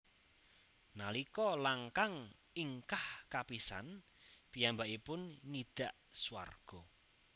Nalika langkang ingkah kapisan piyambakipun ngidak swarga